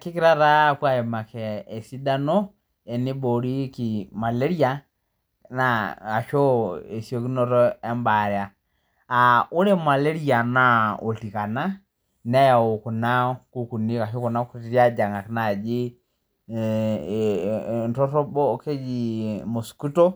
Kigira taa apuo aimaki esidano eneiboorieki malaria naa ashu esiekunoto embaaya, ore malaria[naa oltikana neyau kuna ashu kutitik ajing'ak naaji entorobo kejii mosquito,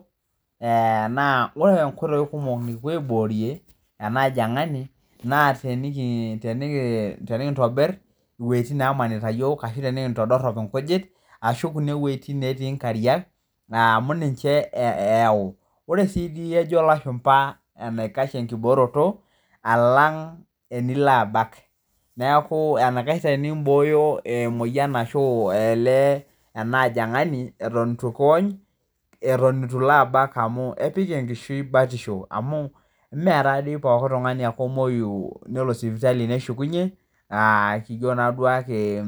naa ore enkoitoi kumok nikipuo aiboorie ena ajang'ani naa tenikintobir wejitin naamanita yook ashu tenikintodorop enkujit ashu kuna wejitin natii inkariak naa amu ninche eyau. Ore sii dii ejo ilashumba enaikash enkibooroto alang enilo abak, neaku eneikach tenimbooyo emoyian ashu aee ena ajang'ani eton eitu kiony, eton ilo abak amuu eik enkishui batisho amuu mee taa dei pooki tungani ake omoiyu nelo sipitaki neshukunye, aa kijo naa duake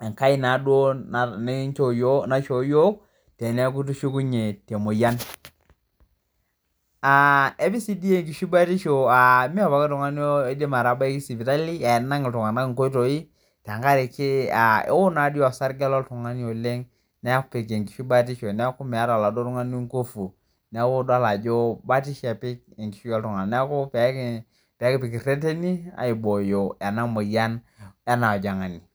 enkai na duo nikinchoo naishoo yook teneaku itishukunye te mpyian. Epik sii dii enkishui batisho, eme pooki tungani oidim atabaki sipitali, enang' ltungana nkoitoi tengaraki ewon naa dei aasarge loltungani oleng nepik enkishui batisho naaku meata eladuo tungani ingufu, naaku idol ajo batisho epik enkishui ooltungana naaku peekipik reteni aibooyo ena moyian ena ajang'ani.